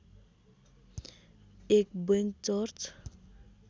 एक bank church